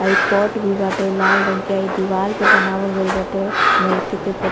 आ इ पॉट भी बाटे लाल रंग के। आ इ दीवाल पे बनावल गइल बाटे मूर्ति के फोट --